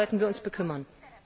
Darum sollten wir uns kümmern.